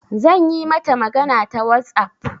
Zan yi mata magana ta WhatsApp.